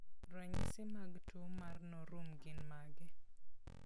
Ranyisi mag tuwo mar Norum gin mage?